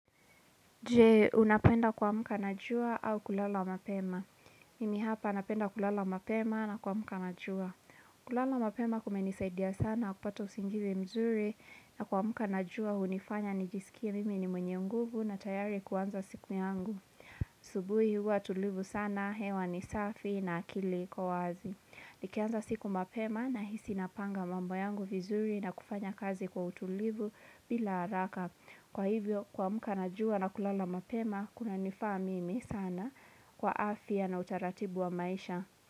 Je, unapenda kwa muka najua au kulala mapema. Mimi hapa unapenda kulala mapema na kwa muka najua. Kulala mapema kumenisaidia sana kupata usingivi mzuri na kwa muka najua unifanya nijisikia mimi ni mwenye nguvu na tayari kuanza siku yangu. Asubuhi huwa tulivu sana, hewa ni safi na akili kwa wazi. Nikianza siku mapema na hisi napanga mambo yangu vizuri na kufanya kazi kwa utulivu bila haraka. Kwa hivyo, kwa muka najua na kulala mapema, kuna nifamimi sana kwa afia na utaratibu wa maisha.